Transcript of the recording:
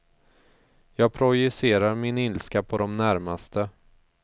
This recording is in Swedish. Jag projicerar min ilska på de närmaste.